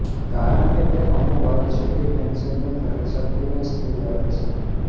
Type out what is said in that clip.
કારણકે તે અમુક હદ સુધી પૅન્શનની ખરીદશક્તિને સ્થિર રાખે છે